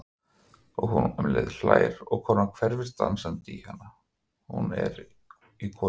Og hún hlær um leið og konan hverfist dansandi í hana, hún í konuna.